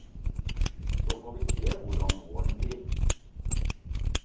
Så får vi se hvordan våren blir.